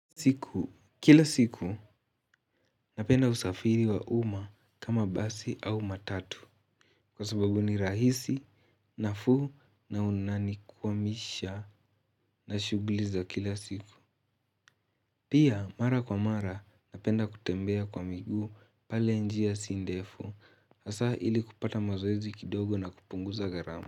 Siku, kila siku napenda usafiri wa umma kama basi au matatu kwa sababu ni rahisi nafuu na unanikuwamisha na shughli za kila siku. Pia mara kwa mara napenda kutembea kwa miguu pale njia si ndefu hasaa ili kupata mazoeizi kidogo na kupunguza gharamu.